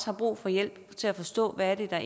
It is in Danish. har brug for hjælp til at forstå hvad der